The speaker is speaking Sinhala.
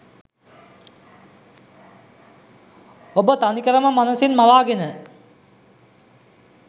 ඔබ තනිකරම මනසින් මවාගෙන